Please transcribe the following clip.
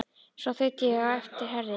Svo þaut ég á eftir Herði.